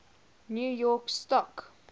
new york stock